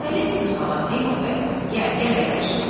Ay əleyküm salam, Teymur bəy, gəl, gəl əyləş.